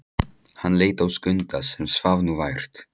Hann leit á Skunda sem svaf nú vært.